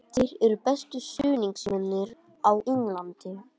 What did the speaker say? Þeir eru bestu stuðningsmennirnir á Englandi.